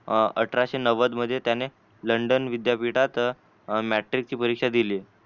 अठराशे नव्वद मध्ये त्यांनी लंडन विद्यापीठात मॅट्रिकची परीक्षा दिली.